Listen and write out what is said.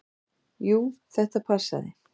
Jú, þetta passaði.